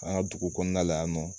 An ka dugu kɔnɔna la yan nɔ